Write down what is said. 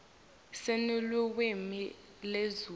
sinelulwimi lezulu